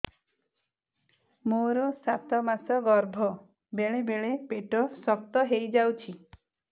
ମୋର ସାତ ମାସ ଗର୍ଭ ବେଳେ ବେଳେ ପେଟ ଶକ୍ତ ହେଇଯାଉଛି